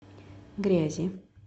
грязи